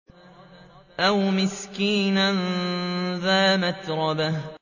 أَوْ مِسْكِينًا ذَا مَتْرَبَةٍ